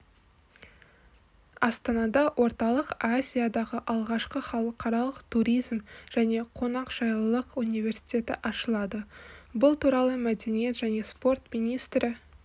астанада орталық азиядағы алғашқы халықаралық туризм және қонақжайлылық университеті ашылады бұл туралы мәдениет және спорт министрі